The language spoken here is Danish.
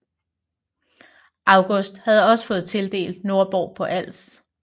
August havde også fået tildelt Nordborg på Als